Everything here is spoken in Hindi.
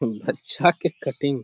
हम्म अच्छा के कटिंग --